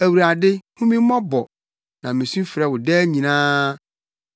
Awurade, hu me mmɔbɔ, na misu frɛ wo daa nyinaa.